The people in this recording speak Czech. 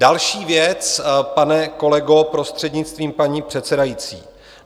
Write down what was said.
Další věc, pane kolego, prostřednictvím paní předsedající.